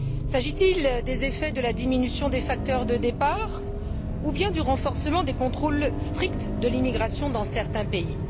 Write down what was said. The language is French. S'agit il des effets de la diminution des facteurs de départ, ou bien du renforcement des contrôles stricts de l'immigration dans certains pays?